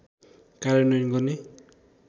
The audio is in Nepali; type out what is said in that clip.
कार्यान्वयन गर्ने